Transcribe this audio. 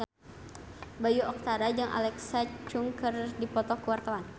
Bayu Octara jeung Alexa Chung keur dipoto ku wartawan